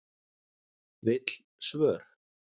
Vill svör